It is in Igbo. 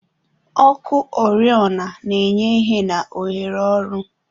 Ọkụ oriọna na-enye ìhè na ohere ọrụ.